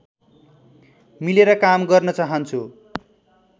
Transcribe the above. मिलेर काम गर्न चाहन्छु